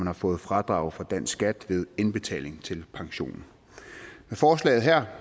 har fået fradrag for dansk skat ved indbetalingen til pensionen med forslaget her